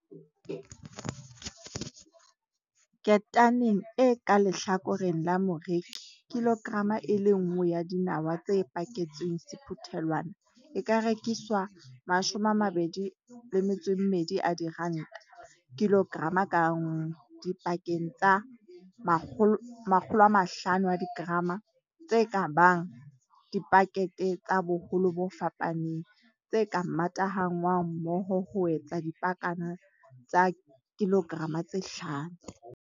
Ketaneng e ka lehlakoreng la moreki kilograma e le nngwe ya dinawa tse paketsweng sephuthelwana e ka rekiswa R22 00 kilograma ka nngwe dipaketeng tsa 500 g tse ka bang dipakete tsa boholo bo fapaneng, tse ka matahanngwang mmoho ho etsa dipakana tsa 5 kg.